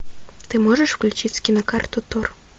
ты можешь включить кинокарту тор